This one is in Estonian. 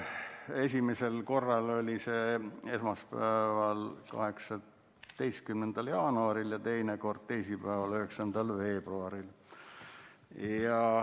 Esimene kord oli esmaspäeval, 18. jaanuaril ja teine kord teisipäeval, 9. veebruaril.